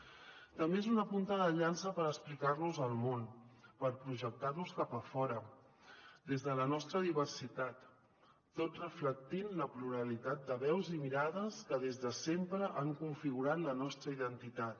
també és una punta de llança per explicar·nos al món per projectar·nos cap a fora des de la nostra diversitat tot reflectint la pluralitat de veus i mirades que des de sempre han configurat la nostra identitat